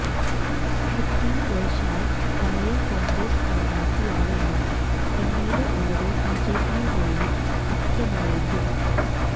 തൃപ്തി ദേശായി പഴയ കോണ്ഗ്രസ് സ്ഥാനാര്ത്ഥിയാണെന്നും പിന്നീട് അവര് ബിജെപിയുമായി സഖ്യമായെന്നും